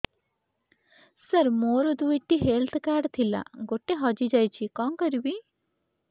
ସାର ମୋର ଦୁଇ ଟି ହେଲ୍ଥ କାର୍ଡ ଥିଲା ଗୋଟେ ହଜିଯାଇଛି କଣ କରିବି